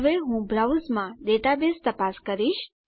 હવે હું બ્રાઉઝ માં ડેટાબેઝ તપાસ કરીશ